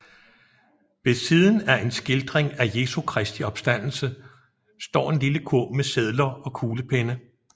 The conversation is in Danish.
Ved siden af en skildring af Jesu Kristi opstandelse står en lille kurv med sedler og kuglepenne